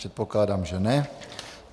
Předpokládám, že ne.